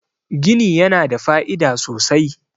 gini yana da fa'ida sosai